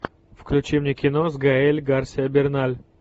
включи мне кино с гаэль гарсия берналь